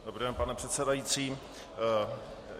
Dobrý den, pane předsedající.